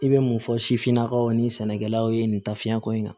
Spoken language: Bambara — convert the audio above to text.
I bɛ mun fɔ sifinnakaw ni sɛnɛkɛlaw ye nin ta fiɲɛko in kan